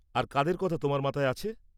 আর কাদের কথা তোমার মাথায় আছে?